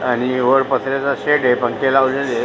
आणि वर पत्र्याचा शेड ये पंखे लावलेलेय.